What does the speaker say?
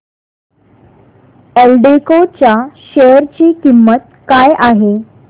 एल्डेको च्या शेअर ची किंमत काय आहे